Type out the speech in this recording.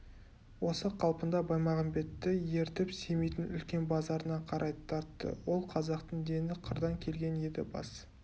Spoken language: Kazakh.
осы қалпында баймағамбетті ертіп семейдің үлкен базарына қарай тартты ол қазақтың дені қырдан келген еді бас